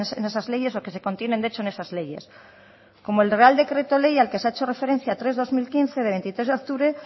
en esas leyes o que se contienen de hecho en esas leyes como el real decreto ley al que se ha hecho referencia tres barra dos mil quince de veintitrés de octubre